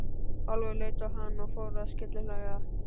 Álfur leit á hann og fór að skellihlæja.